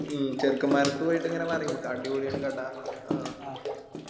മ്മ് ചെറുക്കൻമാരെ അടുത്ത് പോയിട്ട് ഇങ്ങനെ പറയും അടിപൊളിയാണ് കട ആ